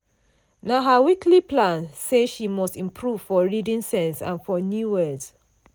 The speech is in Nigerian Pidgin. na her weekly plan say she must improve for reading sense and for new words.